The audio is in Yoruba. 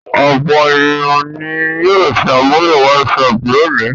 Ọ̀pọ̀ ènìyàn ni yóò ṣàmúlò WhatsApp lónìí.